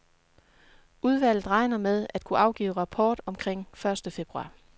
Udvalget regner med at kunne afgive rapport omkring første februar.